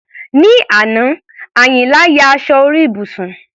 Ní àná, Àyìnlá ya aṣọ orí ibùsùn.